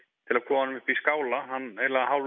til að koma honum upp í skála hann